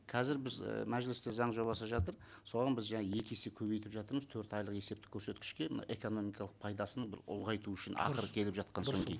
қазір біз і мәжілісте заң жобасы жатыр соған біз жаңа екі есе көбейтіп жатырмыз төрт айлық есептік көрсеткішке мына экономикалық пайдасын бір ұлғайту үшін ақыры келіп жатқан соң кейін